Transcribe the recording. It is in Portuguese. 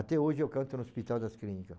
Até hoje eu canto no Hospital das Clínica.